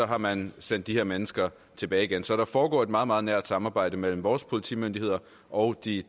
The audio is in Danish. har man sendt de her mennesker tilbage igen så der foregår et meget meget nært samarbejde mellem vores politimyndigheder og de